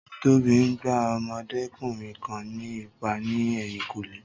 Tóbi ń gbá ọmọdékùnrin kan ní ìpá ní ẹ̀yìnkùlé